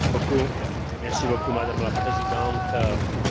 Chcel som povedať jednu dôležitú vec.